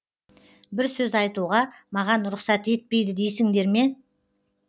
бір сөз айтуға маған рұқсат етпейді дейсіңдер ме